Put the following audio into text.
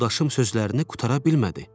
Yoldaşım sözlərini qurtara bilmədi.